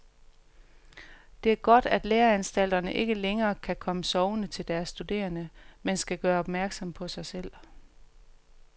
Det er godt, at læreanstalterne ikke længere kan komme sovende til deres studerende, men skal gøre opmærksom på sig selv.